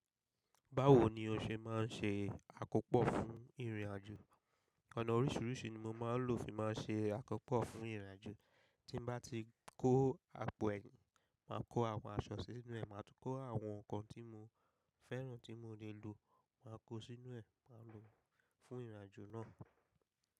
Báwo ni o ṣe máa ń ṣe àkópọ̀ fún ìrìnàjò? Ọ̀nà oríṣiríṣi ni mo máa ń lò fi máa ń ṣe àkópọ̀ fún ìrìnàjò. Tí n bá ti kó àpò ẹ̀yìn, màá kó àwọn aṣọ sínú ẹ̀, màá tún kó àwọn nǹkan tí mo fẹ́ràn tí mo lè lò, màá kó sínú ẹ̀, màá lò fún ìrìnàjò náà.